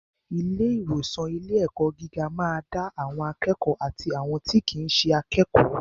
Ilé ìwòsan ilé ẹ̀kọ́ gíga ma da àwọn akékòó àti àwọn tí kìí ṣe akékòó.